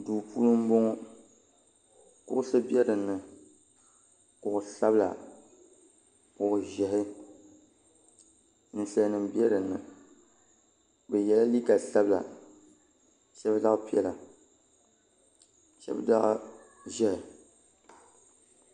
do puuni n bɔŋɔ kuɣisi bɛ dini kusabila kuɣiʒiɛhi nisalinim bɛ dini bɛ yɛla liga sabila shɛbi zaɣ' piɛla shɛbi zaɣ' ʒiɛhi